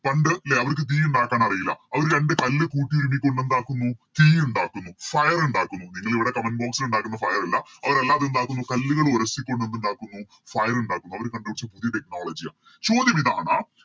പണ്ട് ലെ അവർക്ക് തീ ഇണ്ടാക്കാൻ അറില്ല അവര് രണ്ട് കല്ല് കൂട്ടി ഇടിച്ച് എന്തുണ്ടാക്കുന്നു തീ ഇണ്ടാക്കുന്നു Fire ഇണ്ടാക്കുന്നു നിങ്ങളിവിടെ Comment box ല് ഇണ്ടാക്കുന്ന Fire അല്ല അവര് അല്ലാതെ എന്തുണ്ടാക്കുന്നു കല്ലുകൾ ഉരസിക്കൊണ്ട് എന്തുണ്ടാക്കുന്നു Fire ഇണ്ടാക്കുന്നു അവര് കണ്ട് പിടിച്ച പുതിയ Technology യ ചോദ്യമിതാണ്